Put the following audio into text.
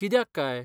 कित्याक काय?